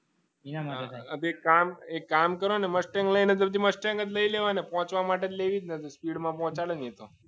એ કામ કરો ને મોસ્ટ દસજ લઈ લેવાય ને પહોંચવા માટે લેવી સ્પીડમાં પહોંચાડે નહિ તો એ તો